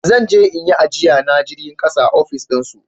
Zan je in yi ajiya na jirgin ƙasa a ofis din su